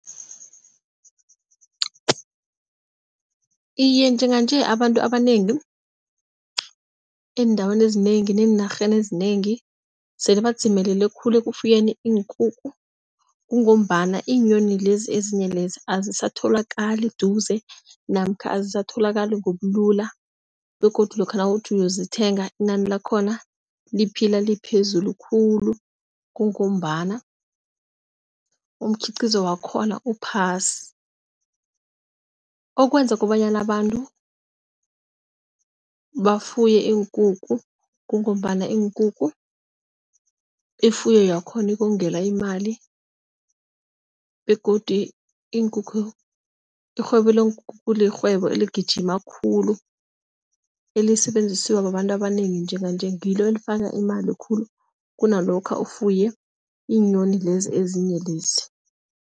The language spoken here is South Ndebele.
Iye, njenganje abantu abanengi eendaweni ezinengi neenarheni ezinengi sele badzimelele khulu, ekufuyeni iinkukhu kungombana iinyoni lezi ezinye lezi, azisatholakali eduze namkha azisatholakali ngobulula begodu lokha nawuthi uyozithenga inani lakhona, liphila liphezulu khulu, kungombana umkhiqizo wakhona uphasi. Okwenza kobanyana abantu bafuye iinkukhu kungombana iinkukhu ifuyo yakhona ukongamela imali begodu iinkukhu irhwebo leenkukhu lirhwebo eligijimako khulu elisetjenziswa babantu abanengi njenganje, ngilo elifaka imali khulu kunalokha ufuye iinyoni lezi ezinye lezi.